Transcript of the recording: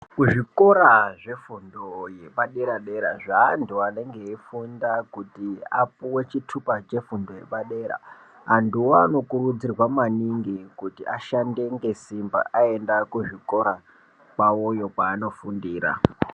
Kuzvikora zvefundo yepadera dera zveantu anenge eifunda kuti apuwe chitupa chefundo yepadera antuwo anokurudzirwa maningi kuti ashande ngesimba aenda kuzvikora kwawoyo kwaanofundira.